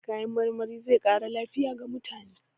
Kayan marmari zai ƙara lafiya ga mutane.